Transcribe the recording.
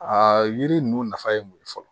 Aa yiri ninnu nafa ye mun ye fɔlɔ